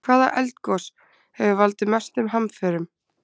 Hvaða eldgos hefur valdið mestum hamförum?